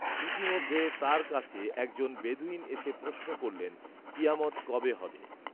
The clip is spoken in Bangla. ইতিমধ্যে তাঁর কাছে একজন বেদুঈন এসে প্রশ্ন করলেন, কিয়ামত কবে হবে